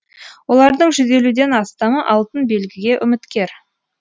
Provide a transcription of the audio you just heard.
олардың жүз елуден астамы алтын белгіге үміткер